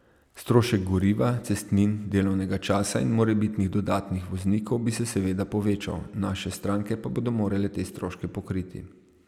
Strošek goriva, cestnin, delovnega časa in morebiti dodatnih voznikov bi se seveda povečal, naše stranke pa bodo morale te stroške pokriti.